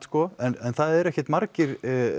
en það eru ekkert margir